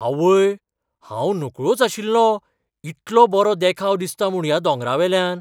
आवय, हांव नकळोच आशिल्लों इतलो बरो देखाव दिसता म्हूण ह्या दोंगरावेल्यान!